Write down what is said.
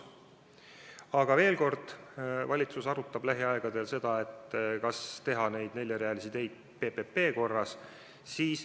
Aga veel kord, valitsus arutab lähiajal, kas teha neid neljarealisi teid PPP korras.